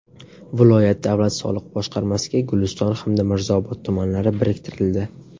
Viloyat davlat soliq boshqarmasiga Guliston hamda Mirzaobod tumanlari biriktirildi.